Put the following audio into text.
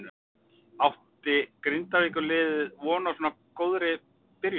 Átti Grindavíkur liðið von á svo góðri byrjun?